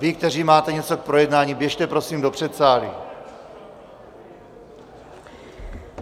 Vy, kteří máte něco k projednání, běžte prosím do předsálí.